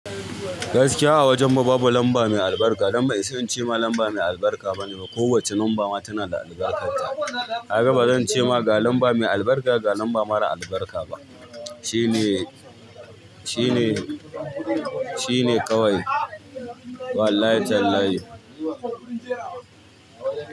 Gaskiya a wajen mu babu lamba mai albarka. Dan bai isa in ce ma lamba mai albarka bane. Ko wace lamba ma tana da albarkarta. Kaga bazan ce ma ga lamba mai albarka ga lamba mara albarka ba. Shine, shine, shine kawai. Wallahi talayhi.